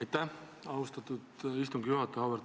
Aitäh, austatud istungi juhataja!